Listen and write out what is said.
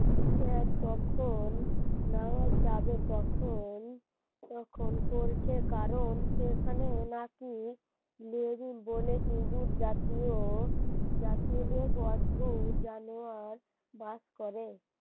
নেওয়া যাবে তখন তখন পরীক্ষার কারণ সেখানে নাকি বলে ইঁদুর জাতীয় ও যাতে এক অদ্ভুত জানোয়ার বাস করে